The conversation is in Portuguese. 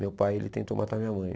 Meu pai ele tentou matar minha mãe.